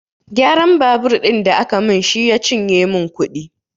Gyaran babur ɗin da aka min shi ya cinye min kuɗi